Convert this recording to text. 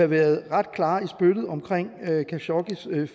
været ret klar i spyttet om khashoggis